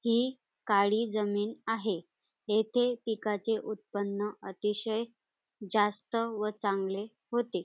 ही काळी जमीन आहे. येथे पिकाचे उत्पन्न अतिशय जास्त व चांगले होते.